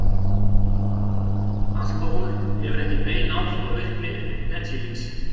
Alkóhól hefur ekki bein áhrif á virkni penisilíns.